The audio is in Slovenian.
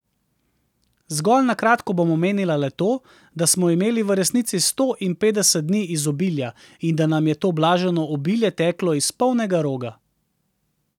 Zgolj na kratko bom omenila le to, da smo imeli v resnici sto in petdeset dni izobilja in da nam je to blaženo obilje teklo iz polnega roga.